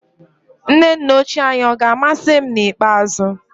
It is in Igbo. Nne nnochi anyị ọ̀ ga-amasị m n'ikpeazụ?